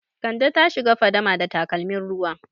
Kande ta shiga fadama da takalmin ruwa.